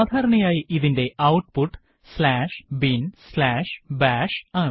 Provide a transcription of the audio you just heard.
സാധാരണയായി ഇതിന്റെ output binbash ആണ്